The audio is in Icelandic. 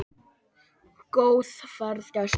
Góða ferð, gæskan!